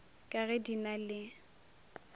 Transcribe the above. ka ge di na le